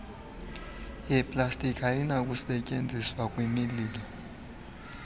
yeplastiki ayinakusetyenziswa kwimililo